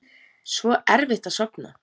Svo erfitt að sofna.